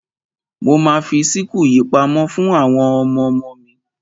Mo ma fi síkù yìí pamọ́ fún àwọn ọmọmo mi.